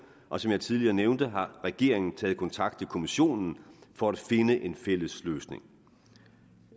og som jeg tidligere nævnte har regeringen taget kontakt til kommissionen for at finde en fælles løsning